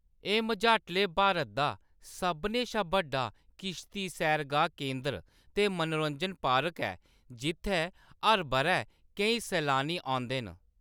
एह्‌‌ मझाटले भारत दा सभनें शा बड्डा किश्ती सैरगाह् केंदर ते मनोरंजन पार्क ऐ जित्थै हर बʼरै केईं सलानी औंदे न।